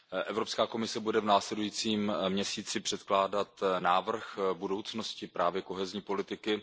Evropská komise bude v následujícím měsíci předkládat návrh budoucnosti právě kohezní politiky.